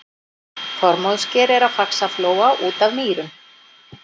Þormóðssker er á Faxaflóa út af Mýrum.